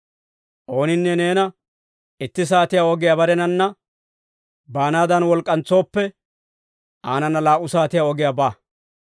Ooninne neena itti saatiyaa ogiyaa barenanna baanaadan wolk'k'antsooppe, aanana laa"u saatiyaa ogiyaa ba.